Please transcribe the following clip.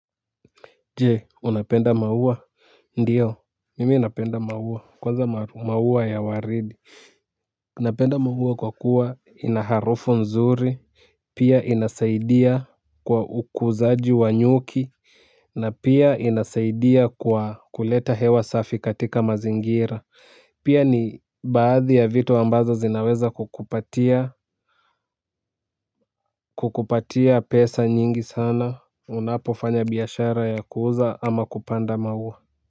Jee unapenda maua ndio mimi napenda maua kwanza maua ya waridi napenda maua kwa kuwa ina harufu nzuri pia inasaidia kwa ukuzaji wa nyuki na pia inasaidia kwa kuleta hewa safi katika mazingira pia ni baadhi ya vitu ambazo zinaweza kukupatia fedha nyingi sana unapofanya biashara ya kuuza ama kupanda maua.